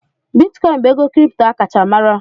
Bitikoin bụ ego kripto a kacha mara.